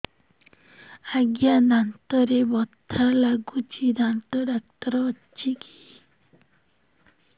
ଆଜ୍ଞା ଦାନ୍ତରେ ବଥା ଲାଗୁଚି ଦାନ୍ତ ଡାକ୍ତର ଅଛି କି